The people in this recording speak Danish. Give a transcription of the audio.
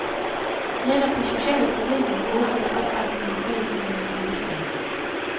Netop de sociale problemer har medført opbakningen bag fundamentalisterne.